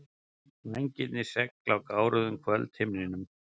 Vængirnir segl á gáruðum kvöldhimninum.